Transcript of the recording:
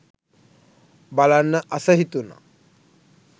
බලන්න අස හිතුන.